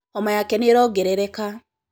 homa yake nĩĩrongerereka